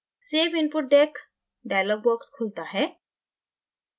save input deck dialog box खुलता है